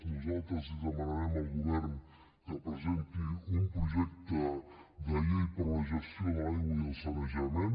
nosaltres li demanarem al govern que presenti un projecte de llei per a la gestió de l’aigua i el sanejament